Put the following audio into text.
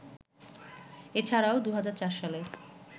এছাড়াও ২০০৪ সালে